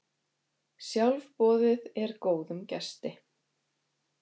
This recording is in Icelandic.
Sjálfboðið er góðum gesti.